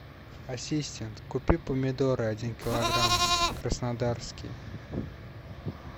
ассистент купи помидоры один килограмм краснодарские